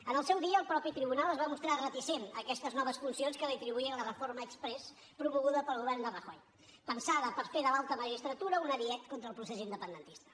en el seu dia el mateix tribunal es va mostrar reticent a aquestes noves funcions que li atribuïa la reforma exprés promoguda pel govern de rajoy pensada per fer de l’alta magistratura un ariet contra el procés independentista